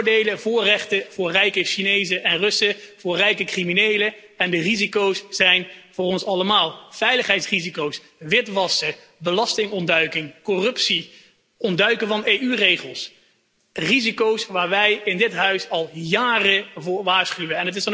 Voordelen en voorrechten voor rijke Chinezen en Russen, voor rijke criminelen, de risico's zijn echter voor ons allemaal veiligheidsrisico's, witwassen, belastingontduiking, corruptie, ontduiken van EU regels, risico's waar wij in dit huis al jaren voor waarschuwen.